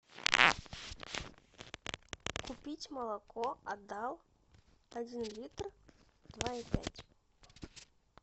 купить молоко адал один литр два и пять